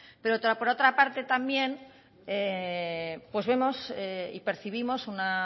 por otra parte también vemos y percibimos una